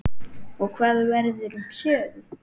Og hvað verður um Sögu?